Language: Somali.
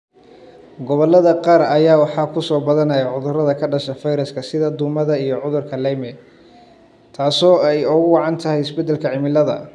Gobollada qaar ayaa waxaa ku soo badanaya cudurrada ka dhasha fayraska sida duumada iyo cudurka Lyme, taasoo ay ugu wacan tahay isbedelka cimilada.